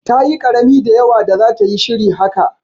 Ta yi karami da yawa da zata yi shiri haka.